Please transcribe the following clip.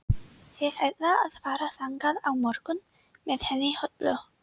Ég ætla að fara þangað á morgun með henni Höllu.